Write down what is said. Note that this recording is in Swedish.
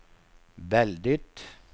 väldigt